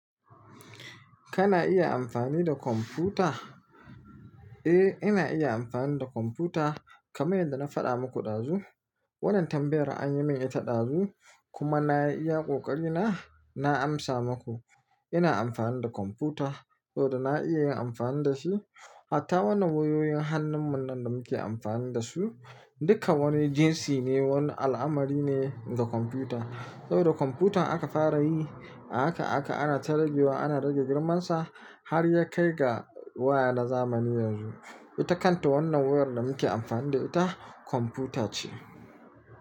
Kana iya amfani da kwamfuta? Eh, ina iya amfani da kwamfuta kamar yadda na faɗa muku ɗazu. Wannan tambayar an yi min ita ɗazu kuma nayi iya ƙoƙarina. Na amsa maku ina amfani da kwamfuta saboda na iya yin amfani da shi. Hatta wannan wayoyin hannun munan da muke amfani dashi dukka wani jinsi ne, wani al'amari ne na kwamfuta. Saboda kwamfuta aka fara yi, ahaka ahaka ana ta rage wa, ana rage girmansa. Har ya kai ga waya na zamani yanzu. Ita kanta wannan wayar da muke amfani da ita kwamfuta ce.